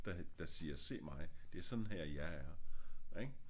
Der siger se mig det er sådan her jeg er ik